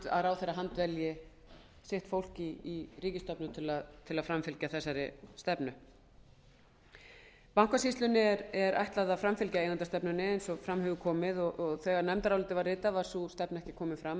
að ráðherra handvelji sitt fólk í ríkisstofnun til að framfylgja þessari stefnu bankasýslunni er ætlað að framfylgja eigendastefnunni eins og fram hefur komið og þegar nefndarálitið var ritað var sú stefna ekki komin fram